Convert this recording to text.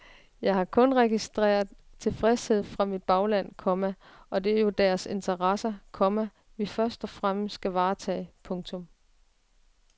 Jeg har kun registreret tilfredshed fra mit bagland, komma og det er jo deres interesser, komma vi først og fremmest skal varetage. punktum